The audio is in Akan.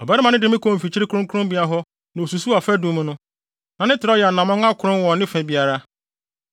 Ɔbarima no de me kɔɔ mfikyiri kronkronbea hɔ na osusuw afadum no; na ne trɛw yɛ anammɔn akron wɔ ne fa biara.